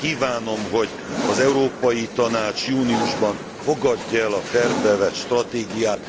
Kívánom, hogy az Európai Tanács júniusban fogadja el a tervbe vett stratégiát.